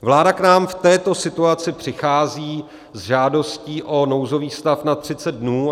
Vláda k nám v této situaci přichází s žádostí o nouzový stav na 30 dnů.